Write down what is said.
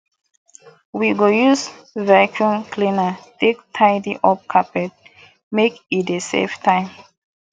we go use vacuum cleaner take tidy up carpet make e dey save time